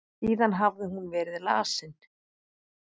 Síðan hafði hún verið lasin.